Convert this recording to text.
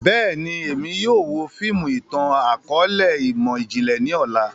Bẹ́ẹ̀ni, Emi yóò wo fiimu itan-akọọlẹ imọ-jinlẹ ni ọla.